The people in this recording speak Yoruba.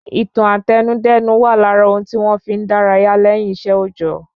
Ìtàn Àtẹnudẹ́nu wà lára ohun tí wọn fí n dárayá lẹ́yìn iṣẹ́ òòjọ́